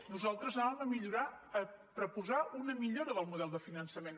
nosaltres anàvem a millorar a proposar una millora del model de finançament